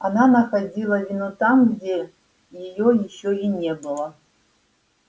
она находила вину там где её ещё и не было